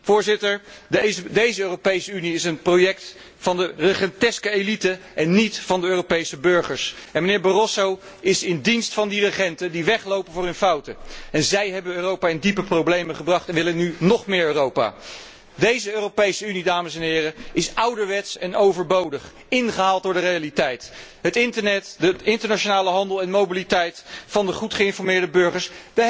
Voorzitter, deze Europese Unie is een project van een regenteske elite en niet van de Europese burgers. De heer Barroso is in dienst van de regenten die weglopen voor hun fouten. Zij hebben Europa in diepe problemen gebracht en willen nu nóg meer Europa. Deze Europese Unie, dames en heren, is ouderwets en overbodig, ingehaald door de realiteit, het internet, de internationale handel en mobiliteit van de goed geïnformeerde burgers.